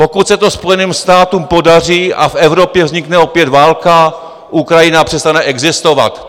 Pokud se to Spojeným státům podaří a v Evropě vznikne opět válka, Ukrajina přestane existovat."